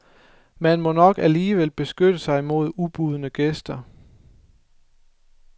Man må nok alligevel beskytte sig imod ubudne gæster.